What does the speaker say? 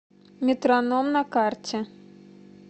метроном на карте